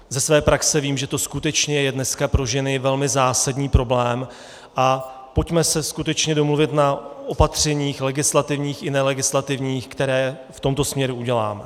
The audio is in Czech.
Ze své praxe vím, že to skutečně je dneska pro ženy velmi zásadní problém, a pojďme se skutečně domluvit na opatřeních, legislativních i nelegislativních, která v tomto směru uděláme.